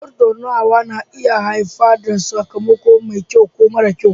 Tattaunawa na iya haifar da sakamako mai kyau ko mara kyau